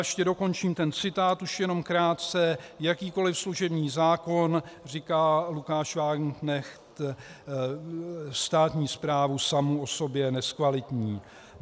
Ještě dokončím ten citát, už jenom krátce: "Jakýkoli služební zákon" - říká Lukáš Wagenknecht - "státní správu samu o sobě nezkvalitní.